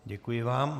Děkuji vám.